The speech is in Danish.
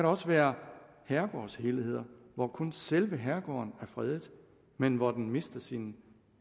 også være herregårdshelheder hvor kun selve herregården er fredet men hvor den mister sin